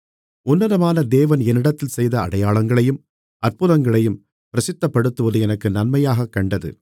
உன்னதமான தேவன் என்னிடத்தில் செய்த அடையாளங்களையும் அற்புதங்களையும் பிரசித்தப்படுத்துவது எனக்கு நன்மையாகக் கண்டது